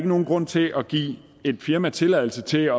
nogen grund til at give et firma tilladelse til at